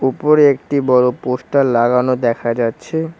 উপরে একটি বড়ো পোস্টার লাগানো দেখা যাচ্ছে।